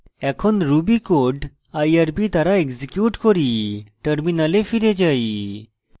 এখন ruby code irb দ্বারা execute করি terminal ফিরে যাই